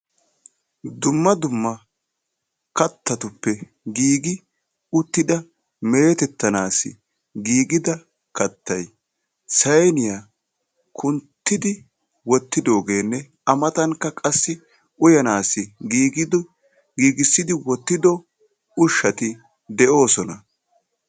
Dumma dumma kattatuppe giigi uttida metettanassi giigida kattay sayniyaa kunttidi wottidoogenne A matankka qassi uyyanassi giigissido ushshati de'oosona.